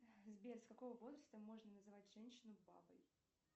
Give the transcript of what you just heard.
сбер с какого возраста можно называть женщину бабой